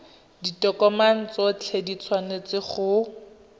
ditokomane tsotlhe di tshwanetse go